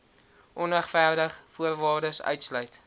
onregverdig voorwaardes uitsluit